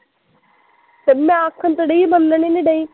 ਤੇ ਮੈਂ ਆਖਣ ਤੇ ਡਈ ਮੰਨਣ ਈ ਨੀ ਡਈ